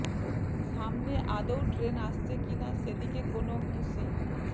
সামনে আদৌ ট্রেন আসছে কি না সে দিকে কোনও হুঁশই